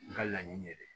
N ka laɲini ye dɛ